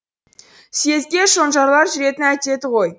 съезге шонжарлар жүретін әдеті ғой